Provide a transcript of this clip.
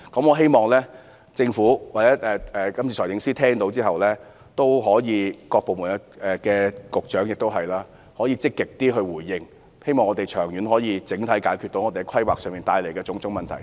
我希望政府或財政司司長、局長及各部門官員在聽罷我的發言後也可以積極回應，希望我們可以長遠及整體解決在規劃上帶來的種種問題。